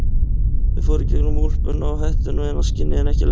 Þau fóru í gegnum úlpuna og hettuna og inn að skinni en ekki lengra.